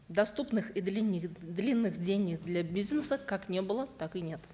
доступных и длинных денег для бизнеса как не было так и нет